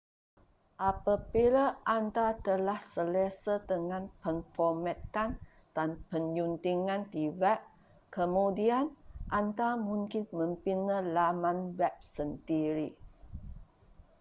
apabila anda telah selesa dengan pemformatan dan penyuntingan di web kemudian anda mungkin membina laman web sendiri